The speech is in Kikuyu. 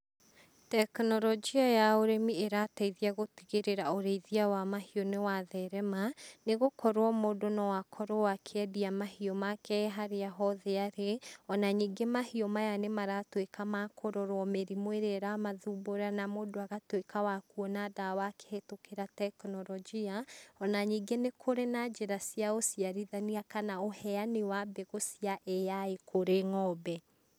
Tekinorojia ya ũrĩmi ĩrateithia gũtigĩrĩra ũrĩithia wa mahiũ nĩwatherema, nĩgũkorwo mũndũ no akorwo akĩendia mahiũ make e harĩa hothe arĩ, ona ningĩ mahiũ maya nĩmaratuĩka ma kũrorwo mĩrimũ ĩrĩa ĩramathumbura, na mũndũ agatuĩka wa kuona ndawa akĩhetũkĩra tekinorojia, ona ningĩ nĩkũrĩ na njĩra cia ũciarithania, kana ũheani wa mbegũ cia AI kũrĩ ngombe.